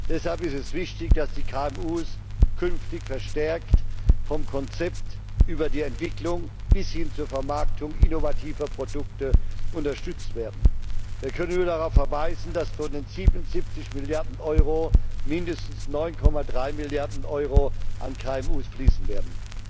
Deshalb ist es wichtig, dass die KMU künftig verstärkt vom Konzept über die Entwicklung bis hin zur Vermarktung innovativer Produkte unterstützt werden. Wir können nur darauf verweisen, dass von den 77 Milliarden Euro mindestens 9,3 Milliarden Euro an KMU fließen werden.